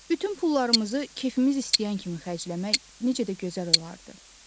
Bütün pullarımızı kefimiz istəyən kimi xərcləmək necə də gözəl olardı.